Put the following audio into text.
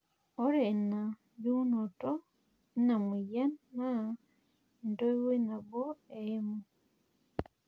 ore ina jungunoto eina moyian naa entoiwuoi nabo eimu.